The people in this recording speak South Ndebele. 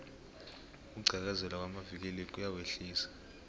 ukugqekezelwa kwamavikili kuyawehlisa